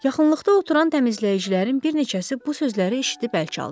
Yaxınlıqda oturan təmizləyicilərin bir neçəsi bu sözləri eşitdi bərk aldı.